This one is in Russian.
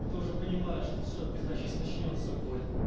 и ты уже понимаю что все пизда сейчас начнётся боль